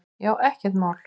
Já, ekkert mál!